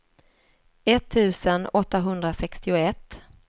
etttusen åttahundrasextioett